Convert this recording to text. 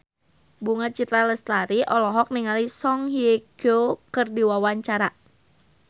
Bunga Citra Lestari olohok ningali Song Hye Kyo keur diwawancara